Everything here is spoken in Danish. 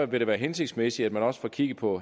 vil det være hensigtsmæssigt at man også får kigget på